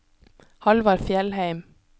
Halvard Fjellheim